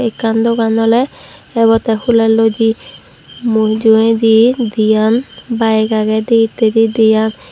ekkan dogan oley ebottey huleloidey mujugedi diyan bayig agey dihittedi diyan.